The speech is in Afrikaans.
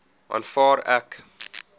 aanvaar ek